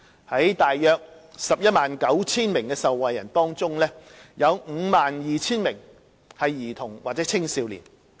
在大約 119,000 名受惠人中，約 52,000 名為兒童或青少年。